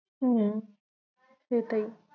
হম